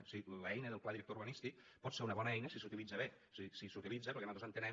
és a dir l’eina del pla director urbanístic pot ser una bona eina si s’utilitza bé és a dir si s’utilitza per al que nosaltres entenem